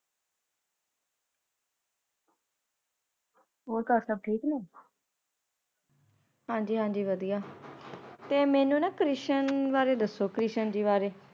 ਹੋਰ ਘਰ ਸੱਭ ਠੀਕ ਨੇ? ਹਾਂਜੀ ਹਾਂਜੀ ਵਦੀਆਂ। ਤੇ ਮੈਨੂੰ ਨਾਂ ਕ੍ਰਿਸ਼ਨ ਬਾਰੇ ਦਸੋ, ਕ੍ਰਿਸ਼ਨ ਜੀ ਵਾਰੇ।